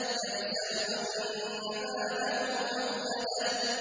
يَحْسَبُ أَنَّ مَالَهُ أَخْلَدَهُ